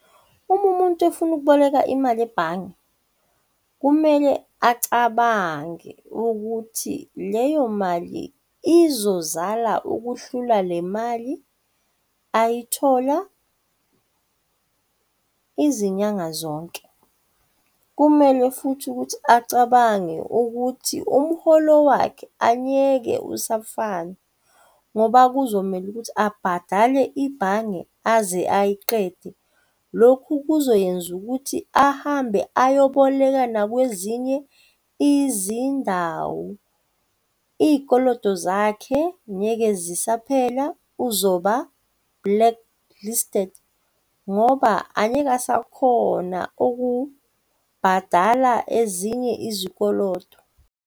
Uma umuntu ofuna ukuboleka imali ebhange, kumele acabange ukuthi leyo mali izozala ukuhlula le mali ayithola izinyanga zonke. Kumele futhi ukuthi acabange ukuthi umuholo wakhe angeke asafana, ngoba kuzomele ukuthi abhadale ibhange aze ayiqede. Lokhu kuzoyenza ukuthi ahambe ayoboleka nakwezinye izindawo iy'koloto zakhe ngeke zisaphela uzoba blacklisted ngoba angeke asakhona okubhadala ezinye izikoloto.